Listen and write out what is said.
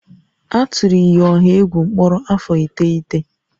A tụrụ iyi ọha egwu mkpọrọ afọ iteghete